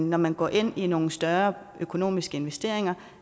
når man går ind i nogle større økonomiske investeringer